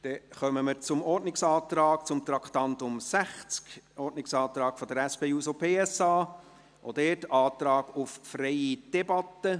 Wir kommen zum Ordnungsantrag zu Traktandum 60 der SP-JUSO-PSA, auch dies ein Antrag auf freie Debatte.